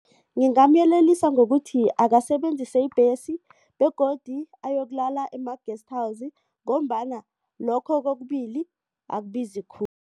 Ngingamyelelisa ngokuthi akasebenzise ibhesi begodu ayokulala kuma-guest house ngombana lokho kokubili akubizi khulu.